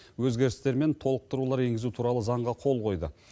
өзгерістер мен толықтырулар енгізу туралы заңға қол қойды